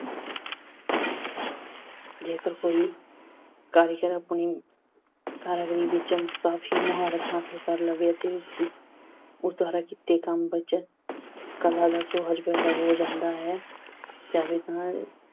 ਜੇਕਰ ਕੋਈ ਕਾਰੀਗਰ ਆਪਣੀ ਕਾਰੀਗਰੀ ਵਿੱਚ ਕਾਫੀ ਮੁਹਾਰਤ ਹਾਸਲ ਲਵੇ ਅਤੇ ਉਸ ਦੀ, ਉਸ ਦੁਆਰਾ ਕੀਤੇ ਕੰਮ ਵਿੱਚ ਕਲਾ ਦਾ ਸੋਹਜ ਪੈਦਾ ਹੋ ਜਾਂਦਾ ਹੈ। ਜਾਵੇ ਤਾਂ